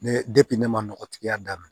Ne ne ma nɔgɔtigiya daminɛ